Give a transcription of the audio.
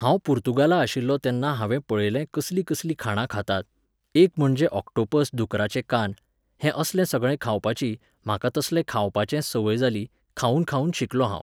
हांव पुर्तुगाला आशिल्लों तेन्ना हांवे पळयलें कसलीं कसलीं खाणां खातात, एक म्हणजे ऑक्टोपस दुकराचे कान, हें असलें सगळें खावपाची, म्हाका तसलें खावपाचें संवय जाली, खावून खावून शिकलों हांव